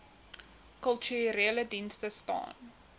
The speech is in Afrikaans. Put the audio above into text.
kulturele dienste staan